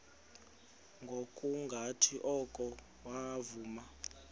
ngokungathi oko wavuma